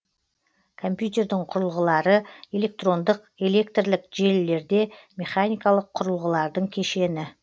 компьютердің құрылғылары электрондық электрлік және механикалық құрылғылардың кешені